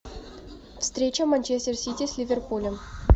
встреча манчестер сити с ливерпулем